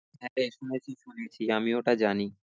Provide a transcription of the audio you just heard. একটা আমি ওটা জানি